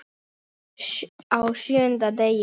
Á SJÖUNDA DEGI